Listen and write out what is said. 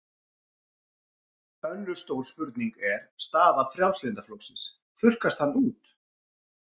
Önnur stór spurning er staða Frjálslynda flokksins, þurrkast hann út?